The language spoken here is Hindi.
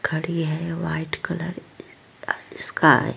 खड़ी है वाइट कलर की स्काई --